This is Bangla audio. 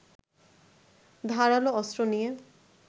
ধারালো অস্ত্র নিয়ে